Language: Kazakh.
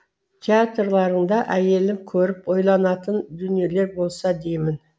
театрларыңда әйелім көріп ойланатын дүниелер болса деймін